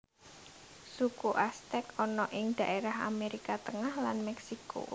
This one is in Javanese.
Suku Aztek ana ing dhaérah Amérika Tengah lan Mèksiko